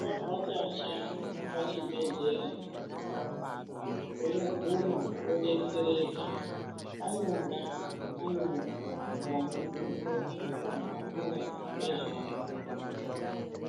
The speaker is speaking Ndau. Wavhakacha pachibhedhlera unoguma wodetsereka panonga pane vanozvikona vakafunda ngezvazvo